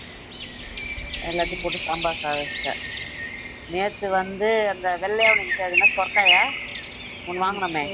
எல்லாத்தையும் போட்டு சாம்பார் சாதம் வச்சிட்டேன் நேத்து வந்து அந்த வெள்ளையா ஒண்ணு இருந்துச்சியே அது என்ன சுரைக்காயா ஒண்ணு வாங்குனோமே